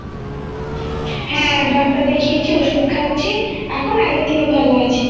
হ্যাঁ ডাক্তার দেখিয়েছি ওষুধ খাচ্ছি এখন আগের থেকে ভালো আছি